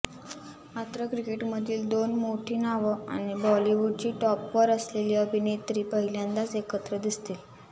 मात्र क्रिकेटमधली दोन मोठी नावं आणि बॉलिवूडची टॉपवर असलेली अभिनेत्री पहिल्यांदाच एकत्र दिसतील